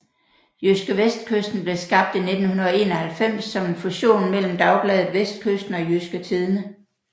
JydskeVestkysten blev skabt i 1991 som en fusion mellem dagbladet Vestkysten og Jydske Tidende